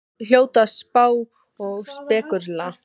Þeir hljóta að spá og spekúlera!